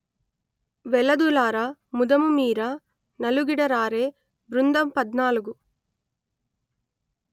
వెలదులార ముదముమీర నలుగిడ రారే బృందంపధ్నాలుగు